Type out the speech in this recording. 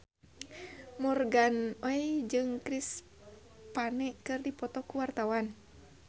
Morgan Oey jeung Chris Pane keur dipoto ku wartawan